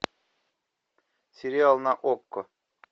сериал на окко